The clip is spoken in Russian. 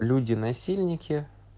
люди насильники